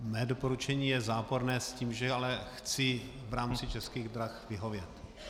Mé doporučení je záporné s tím, že ale chci v rámci Českých drah vyhovět.